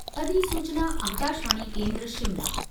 अधिसूचना आकाशवाणी केन्द्र शिमला